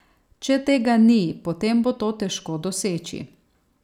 Če tega ni, potem bo to težko doseči.